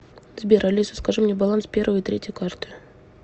сбер алиса скажи мне баланс первой и третьей карты